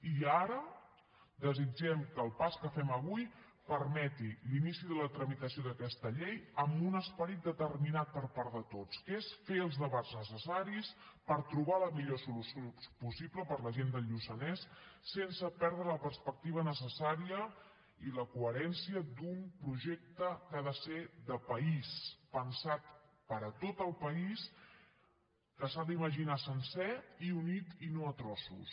i ara desitgem que el pas que fem avui permeti l’inici de la tramitació d’aquesta llei amb un esperit determinat per part de tots que és fer els debats necessaris per trobar la millor solució possible per a la gent del lluçanès sense perdre la perspectiva necessària i la coherència d’un projecte que ha de ser de país pensat per a tot el país que s’ha d’imaginar sencer i unit i no a trossos